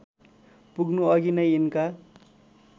पुग्नुअघि नै यिनका